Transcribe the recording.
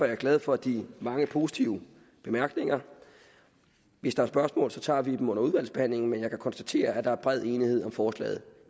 jeg glad for de mange positive bemærkninger hvis der er spørgsmål tager vi dem under udvalgsbehandlingen men jeg kan konstatere at der er bred enighed om forslaget